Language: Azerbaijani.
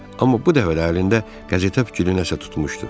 Amma bu dəfə də əlində qəzetə bükülü nəsə tutmuşdu.